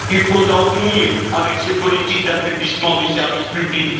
Il faut en finir avec cette politique d'affaiblissement du service public.